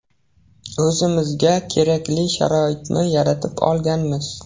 O‘zimizga kerakli sharoitni yaratib olganmiz.